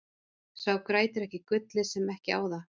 Sá grætur ekki gullið sem ekki á það.